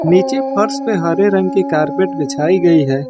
नीचे फर्श पे हरे रंग की कारपेट बिछाई गई है।